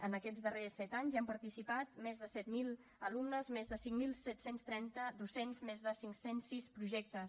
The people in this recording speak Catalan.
en aquests darrers set anys hi han participat més de set mil alumnes més de cinc mil set cents i trenta docents més de cinc cents i sis projectes